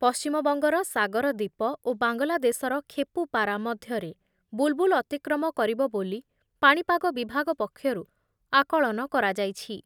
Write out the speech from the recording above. ପଶ୍ଚିମବଙ୍ଗର ସାଗରଦୀପ ଓ ବାଂଲାଦେଶର ଖେପୂପାରା ମଧ୍ୟରେ ବୁଲ୍ ବୁଲ୍ ଅତିକ୍ରମ କରିବ ବୋଲି ପାଣିପାଗ ବିଭାଗ ପକ୍ଷରୁ ଆକଳନ କରାଯାଇଛି।